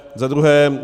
Za druhé.